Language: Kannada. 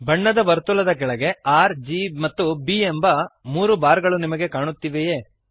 ಬಣ್ಣದ ವರ್ತುಲದ ಕೆಳಗೆ ರ್ G ಮತ್ತು B ಎನ್ನುವ ಮೂರು ಬಾರ್ ಗಳು ನಿಮಗೆ ಕಾಣುತ್ತಿವೆಯೇ